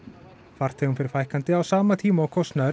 farþegum fer fækkandi á sama tíma og kostnaður